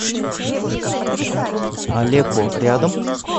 алеко рядом